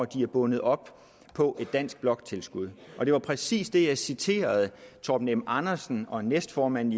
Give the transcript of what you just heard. det er bundet op på et dansk bloktilskud det var præcis det jeg citerede torben m andersen og næstformanden